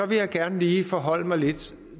vil jeg gerne lige forholde mig lidt